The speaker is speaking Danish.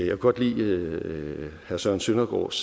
jeg godt lide herre søren søndergaards